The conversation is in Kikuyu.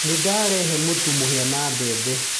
Nĩdarehe mũtu wa mũhia na wa bembe.